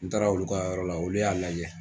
N taara olu ka yɔrɔ la, olu y'a lajɛ.